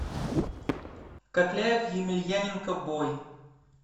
кокляев емельяненко бой